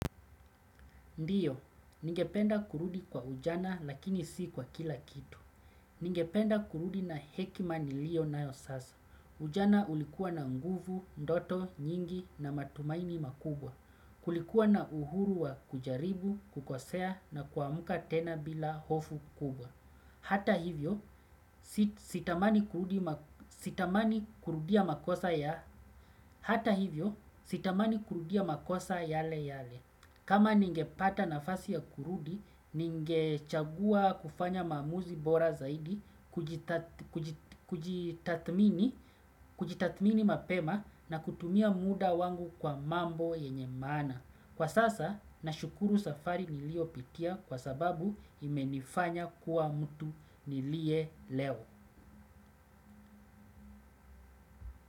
Ndiyo, ningependa kurudi kwa ujana lakini si kwa kila kitu. Ningependa kurudi na hekima niliyo nayo sasa. Ujana ulikuwa na nguvu, ndoto nyingi na matumaini makubwa. Kulikuwa na uhuru wa kujaribu, kukosea na kuamka tena bila hofu kubwa. Hata hivyo sitamani kurudia makosa yale yale. Kama ningepata nafasi ya kurudi, ningechagua kufanya maamuzi bora zaidi, kujitathmini mapema na kutumia muda wangu kwa mambo yenye maana. Kwa sasa nashukuru safari niliyo pitia kwa sababu imenifanya kuwa mtu niliye leo.